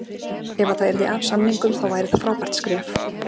Ef að það yrði af samningum þá væri það frábært skref.